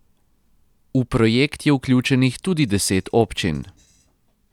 V projekt je vključenih tudi deset občin.